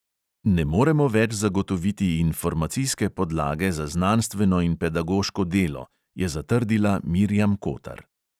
Ne moremo več zagotoviti informacijske podlage za znanstveno in pedagoško delo, je zatrdila mirjam kotar.